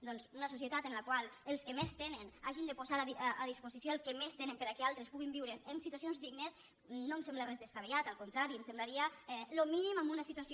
doncs una societat en la qual els que més tenen hagin de posar a disposició el que més tenen perquè altres puguin viure en situacions dignes no em sembla res descabellat al contrari em semblaria el mínim en una situació